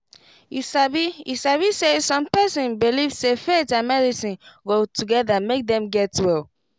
you sabi you sabi saysome person believe say faith and medicine go together make dem get well.